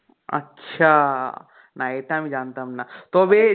আচ্ছা না এটা আমি জানতাম না তবে